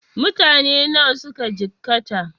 Mutane nawa suka jikkata?